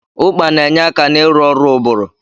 Ụkpà na-enye aka n'ịrụ ọrụ ụbụrụ.